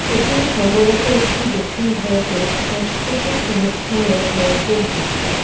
এটি সম্ভবত একটি দক্ষিণ ভারতের সাংস্কৃতিক অনুষ্ঠানের মঞ্চের দৃশ্য।